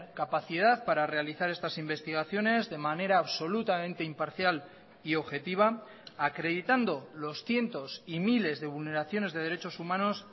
capacidad para realizar estas investigaciones de manera absolutamente imparcial y objetiva acreditando los cientos y miles de vulneraciones de derechos humanos